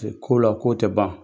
Ko la ko o tɛ ban